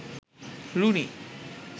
Rooney